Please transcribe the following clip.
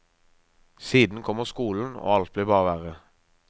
Siden kommer skolen og alt blir bare verre.